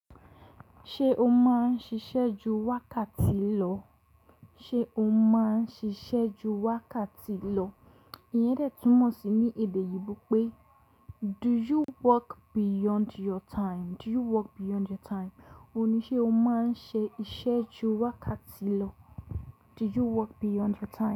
Ṣé o máa ń ṣiṣẹ́ ju wákàtí lọ? Ṣé o máa ń ṣiṣẹ́ ju wákàtí lọ? Iyẹn dẹ́tùn mọ̀ sí ní èdè oyinbo pé do you work beyond your time? Do you work beyond your time? Òní ṣé o máa ń ṣe iṣẹ́ ju wákàtí lọ? Do you work beyond your time?